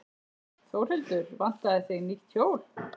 Þórhildur: Vantaði þig nýtt hjól?